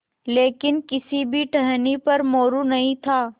लेकिन किसी भी टहनी पर मोरू नहीं था